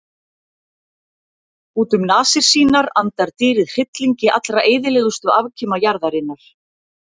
Út um nasir sínar andar dýrið hryllingi allra eyðilegustu afkima jarðarinnar.